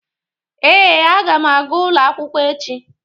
Ee, a ga m aga ụlọ akwụkwọ echi.